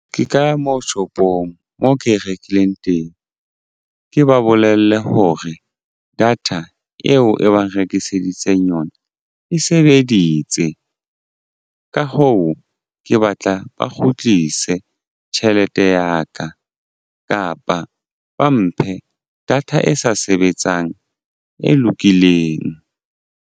Ke ka moo shopong moo ke e rekileng teng ke ba bolelle hore data eo e bang rekiseditseng yona e sebeditse. Ka hoo, ke batla ba kgutlise tjhelete ya ka kapa ba mphe data e sa sebetsang e lokileng.